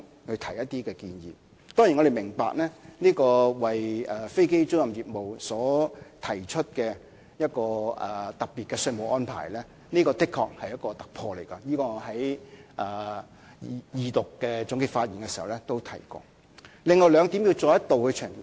我們當然明白，為飛機租賃業務所提出的特別稅務安排確是一項突破，我在二讀的總結發言時已提過這一點。